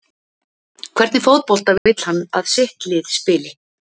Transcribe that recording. Hvernig fótbolta vill hann að sitt lið spili?